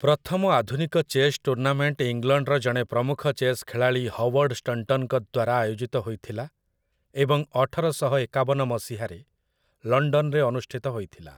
ପ୍ରଥମ ଆଧୁନିକ chess tournament ଇଂଲଣ୍ଡର ଜଣେ ପ୍ରମୁଖ ଚେସ୍ ଖେଳାଳି ହୱାର୍ଡ ଷ୍ଟଣ୍ଟନଙ୍କ ଦ୍ୱାରା ଆୟୋଜିତ ହୋଇଥିଲା ଏବଂ ଅଠରଶହ ଏକାବନ ମସିହାରେ ଲଣ୍ଡନରେ ଅନୁଷ୍ଠିତ ହୋଇଥିଲା ।